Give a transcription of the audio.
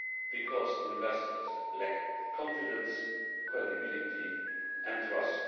Because investors lack confidence, credibility and trust.